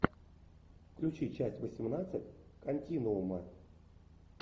включи часть восемнадцать континуума